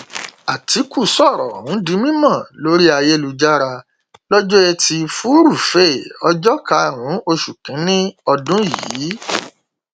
àtìkù sọrọ ọhún di mímọ lórí ayélujára lọjọ etí furuufee ọjọ karùnún oṣù kínínní ọdún yìí